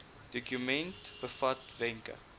dokument bevat wenke